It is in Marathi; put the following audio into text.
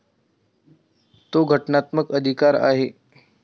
तो घटनात्मक अधिकार आहे.